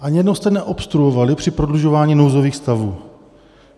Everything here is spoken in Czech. Ani jednou jste neobstruovali při prodlužování nouzových stavů.